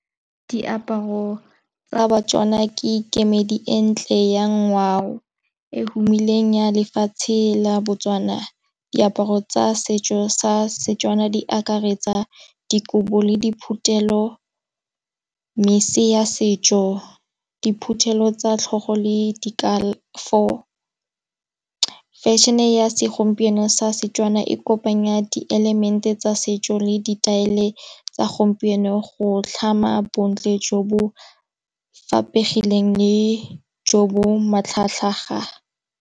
Diaparo tsa batswana ke kemedi e ntle ya ngwao, e humileng ya lefatshe la Botswana. Diaparo tsa setso sa setswana di akaretsa dikobo, le diphuthelo, mmese ya setso, diphuthelo tsa tlhogo le di Fešhene ya segompieno sa setswana e kopanya di l element-e tsa setso le di taelee tsa gompieno go tlhama bontle jo bo faphegileng le jo bo matlhagatlhaga.